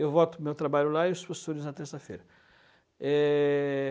Eu volto para o meu trabalho lá e os professores na terça-feira. É...